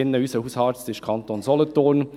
Unser Hausarzt ist im Kanton Solothurn.